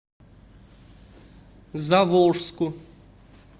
заволжску